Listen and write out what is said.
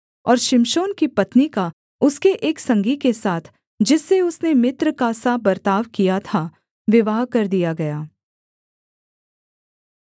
और शिमशोन की पत्नी का उसके एक संगी के साथ जिससे उसने मित्र का सा बर्ताव किया था विवाह कर दिया गया